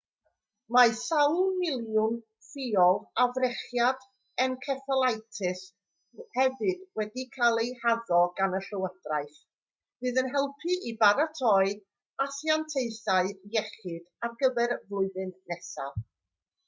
mae sawl miliwn ffiol o frechiad enceffalitis hefyd wedi cael eu haddo gan y llywodraeth fydd yn helpu i baratoi asiantaethau iechyd ar gyfer y flwyddyn nesaf